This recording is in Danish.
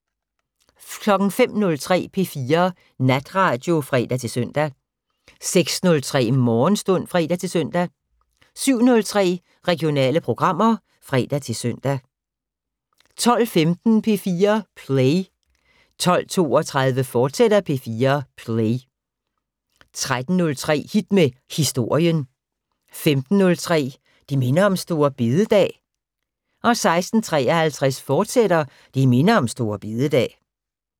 05:03: P4 Natradio (fre-søn) 06:03: Morgenstund (fre-søn) 07:03: Regionale programmer (fre-søn) 12:15: P4 Play 12:32: P4 Play, fortsat 13:03: Hit med Historien 15:03: Det minder om store bededag 16:53: Det minder om store bededag, fortsat